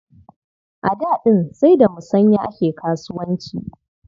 A da ɗin sai da musanya ake kasuwanci.